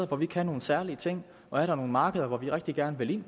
hvor vi kan nogle særlige ting og er der nogle markeder hvor vi rigtig gerne vil